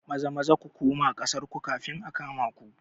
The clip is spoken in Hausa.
Maza-Maza ku kuma ƙasar ku kafin a kama ku